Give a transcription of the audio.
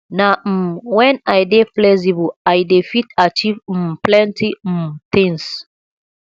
na um wen i dey flexible i dey fit achieve um plenty um tins